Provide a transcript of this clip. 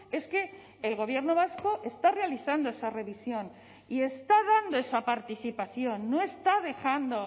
es que el gobierno vasco está realizando esa revisión y está dando esa participación no está dejando